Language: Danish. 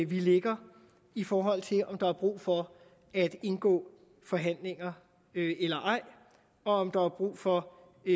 vi ligger i forhold til om der er brug for at indgå forhandlinger eller ej og om der er brug for